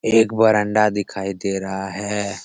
एक बरांडा दिखाई दे रहा है।